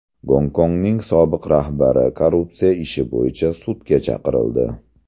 Gonkongning sobiq rahbari korrupsiya ishi bo‘yicha sudga chaqirildi .